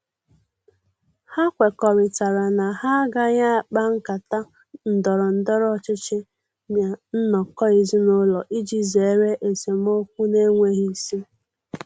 Ha kwekọrịtara na ha agaghị akpa nkata ndọrọ ndọrọ ọchịchị ná nnọkọ ezinụlọ iji zere esemokwu na-enweghi isi.